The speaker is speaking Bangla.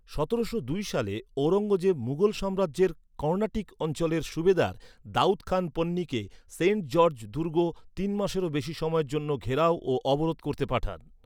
সতেরোশো দুই সালে ঔরঙ্গজেব মুঘল সাম্রাজ্যের কর্ণাটিক অঞ্চলের সুবেদার দাউদ খান পন্নীকে সেন্ট জর্জ দুর্গ তিন মাসেরও বেশি সময়ের জন্য ঘেরাও ও অবরোধ করতে পাঠান।